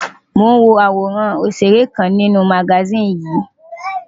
Mò ń wo àwòrán ọ̀ṣèré kan nínú magasíìnì yìí.